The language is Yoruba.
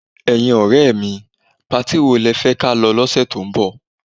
Ẹ̀yin ọ̀rẹ́ mi, patí wo lẹ fẹ́ ka lọ lọ́sẹ̀ tó ń bọ̀?